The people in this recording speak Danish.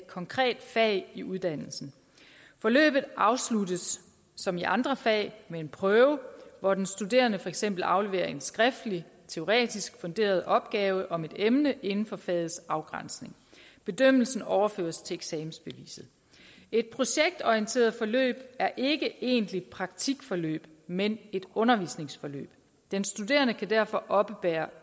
konkret fag i uddannelsen forløbet afsluttes som i andre fag med en prøve hvor den studerende for eksempel afleverer en skriftlig teoretisk funderet opgave om et emne inden for fagets afgrænsning bedømmelsen overføres til eksamensbeviset et projektorienteret forløb er ikke et egentligt praktikforløb men et undervisningsforløb den studerende kan derfor oppebære